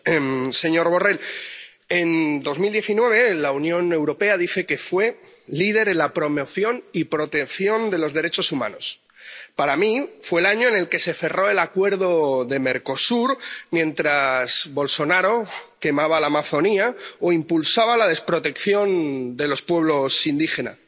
Señora presidenta. Señor Borrell, la Unión Europea dice que en 2019 fue líder en la promoción y protección de los derechos humanos. Para mí fue el año en el que se cerró el Acuerdo de Mercosur, mientras Bolsonaro quemaba la Amazonía o impulsaba la desprotección de los pueblos indígenas.